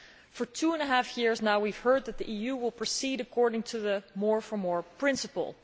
For two and a half years now we have heard that the EU will proceed according to the more for more' principle.